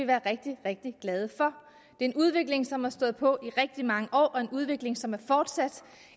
være rigtig rigtig glade for det en udvikling som har stået på i rigtig mange år og en udvikling som er fortsat